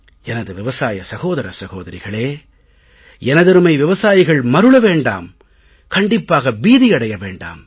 எனது விவசாய சகோதர சகோதரிகளே எனதருமை விவசாயிகள் மருள வேண்டாம் கண்டிப்பாக பீதியடைய வேண்டாம்